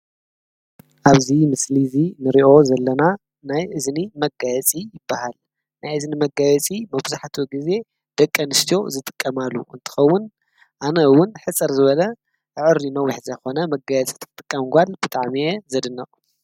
ኣብዙይ ምስሊ እዙ ንርእዮ ዘለና ናይ እዝኒ መጋየጺ ይበሃል ናይ እዝ ኒ መጋየእጺ መብዙሕቱ ጊዜ ደቀ አንስቱዮ ዝጥቀማሉ እንተኸውን ኣነ ውን ሕፅር ዝበለ ኣዕሪዪ ኖውሕ ዘይኾነ መጋየፂ ይጥቀማሉ ብጣም ዘድንቅ።